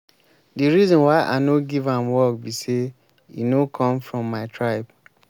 the reason why i no give am work be say e no come from my tribe